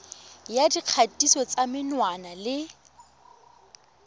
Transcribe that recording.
ya dikgatiso tsa menwana le